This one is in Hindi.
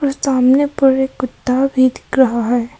सामने पर एक कुत्ता भी दिख रहा है।